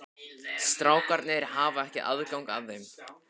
Strákarnir hafa ekki aðgang að þeim?